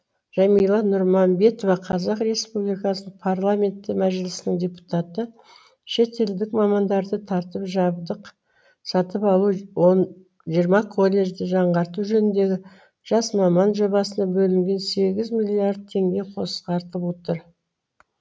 жәмила нұрманбетова қазақ республикасының парламенті мәжілісінің депутаты шетелдік мамандарды тартып жабдық сатып алу он жиырма колледжді жаңғырту жөніндегі жас маман жобасына бөлінген сегіз миллиард теңге қысқартып отыр